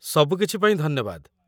ସବୁକିଛି ପାଇଁ ଧନ୍ୟବାଦ।